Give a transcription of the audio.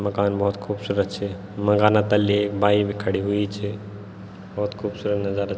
मकान भौत खूबसूरत छे मकाना तल्ली एक बाइक भी खड़ीं हुईं च भौत खूबसूरत नजारा।